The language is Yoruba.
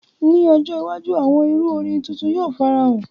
Ni ojo iwaju, awọn iru orin titun yoo farahan.